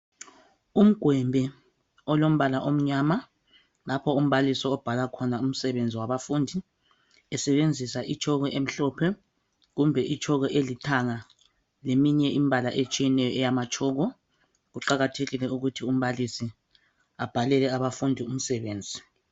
Umgwembe olombala omnyama lapho umbalisi obhala khona umsebenzi wabafundi esebenzisa itshoko emhlophe, kumbe itshoko elithanga, leminye imbala eyamathsoko. Kuqakathekile ukuthi umbalisi abhelele abantwana umsebenzi.